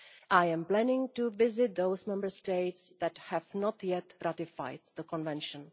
I am planning to visit those Member States that have not yet ratified the Convention.